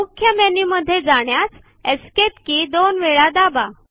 मुख्य मेन्यु मध्ये जाण्यास एस्केप के दोन वेळ दाबा